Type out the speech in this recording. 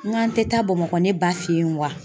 N k'an tɛ taa Bamakɔ ne ba fɛ yen wa?